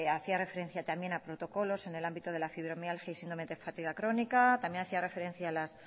hacía referencia también a protocolos en el ámbito de la fibromialgia y síndrome de fatiga crónica también hacía referencia a las